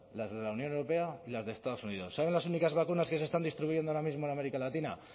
las de la unión europea y las de estados unidos saben las únicas vacunas que se están distribuyendo ahora mismo en américa latina